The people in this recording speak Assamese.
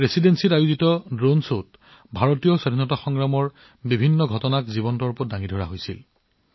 ৰেচিডেন্সিৰ ড্ৰোণ শ্বয়ে ভাৰতীয় স্বাধীনতা সংগ্ৰামৰ বিভিন্ন দিশ জীৱন্ত কৰি তুলিছিল